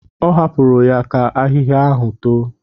Ọ hapụrụ ya ka ahịhịa ahụ too.